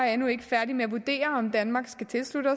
er endnu ikke færdige med at vurdere om danmark skal tilslutte